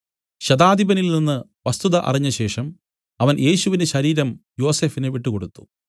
ശതാധിപനിൽനിന്ന് വസ്തുത അറിഞ്ഞശേഷം അവൻ യേശുവിന്റെ ശരീരം യോസഫിന് വിട്ടുകൊടുത്തു